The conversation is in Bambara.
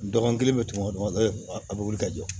Dɔgɔkun kelen bɛ tunu dɔgɔ a bɛ wuli ka jɔ